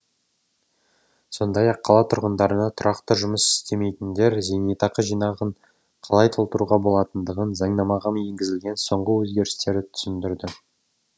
сондай ақ қала тұрғындарына тұрақты жұмыс істемейтіндер зейнетақы жинағын қалай толтыруға болатындығын заңнамаға енгізілген соңғы өзгерістерді түсіндірді